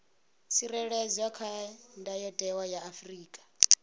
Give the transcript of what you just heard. tsireledzwa kha ndayotewa ya afrika